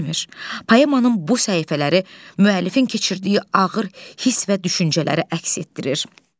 Poemanın bu səhifələri müəllifin keçirdiyi ağır hiss və düşüncələri əks etdirir.